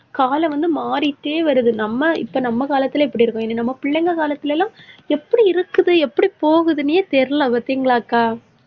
காலம் வந்து மாறிட்டே வருது. நம்ம, இப்ப நம்ம காலத்துல எப்படி இருக்கும், இனி நம்ம பிள்ளைங்க காலத்துல எல்லாம், எப்படி இருக்குது எப்படி போகுதுன்னே தெரியலே. பார்த்தீங்களாக்கா